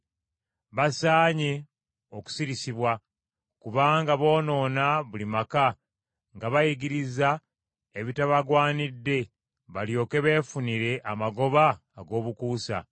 Basaanye okusirisibwa, kubanga boonoona buli maka, nga bayigiriza ebitabagwanidde, balyoke beefunire amagoba ag’obukuusa.